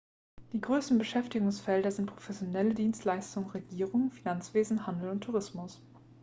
die größten beschäftigungsfelder sind professionelle dienstleistungen regierung finanzwesen handel und tourismus